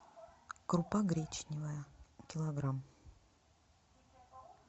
крупа гречневая килограмм